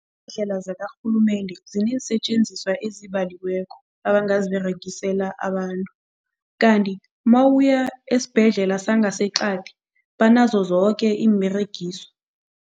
Indlela zakarhulumende ziinensetjenziswa ezibaliweko abangaziberegisela abantu kanti mawuya esibhedlela sangaseqadi banazo zoke iimberegiswa.